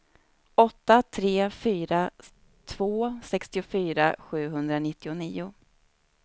åtta tre fyra två sextiofyra sjuhundranittionio